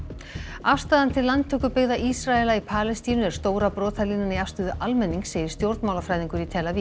afstaðan til landtökubyggða Ísraela í Palestínu er stóra brotalínan í afstöðu almennings segir stjórnmálafræðingur í tel Aviv